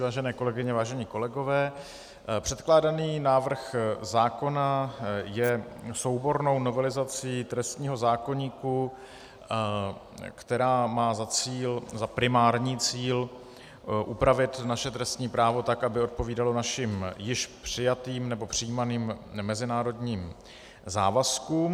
Vážené kolegyně, vážení kolegové, předkládaný návrh zákona je soubornou novelizací trestního zákoníku, která má za primární cíl upravit naše trestní právo tak, aby odpovídalo našim již přijatým nebo přijímaným mezinárodním závazkům.